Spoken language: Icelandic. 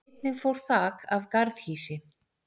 Einnig fór þak af garðhýsi